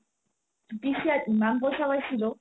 PCI ইমান পইচা পাইছিলো